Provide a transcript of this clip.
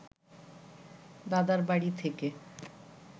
দাদার বাড়ি থেকে